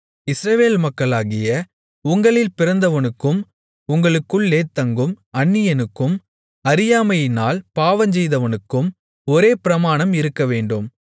இஸ்ரவேல் மக்களாகிய உங்களில் பிறந்தவனுக்கும் உங்களுக்குள்ளே தங்கும் அந்நியனுக்கும் அறியாமையினால் பாவம்செய்தவனுக்கும் ஒரே பிரமாணம் இருக்கவேண்டும்